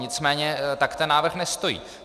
Nicméně tak ten návrh nestojí.